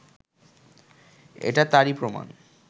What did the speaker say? এটা তারই প্রমাণ